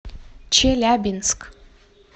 челябинск